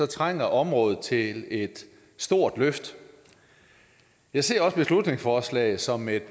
trænger området til et stort løft jeg ser også beslutningsforslaget som et